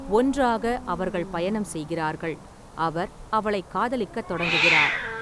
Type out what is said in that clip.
ஒன்றாக, அவர்கள் பயணம் செய்கிறார்கள், அவர் அவளை காதலிக்கத் தொடங்குகிறார்.